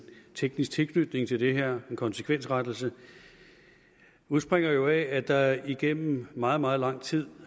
teknisk tilknytning til det her en konsekvensrettelse udspringer jo af at der igennem meget meget lang tid